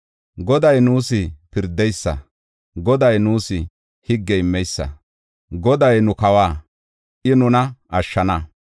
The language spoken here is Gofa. Goday nuus pirdeysa; Goday nuus higge immeysa; Goday nu kawa; I nuna ashshana.